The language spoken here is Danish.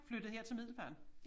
Flyttet her til Middelfart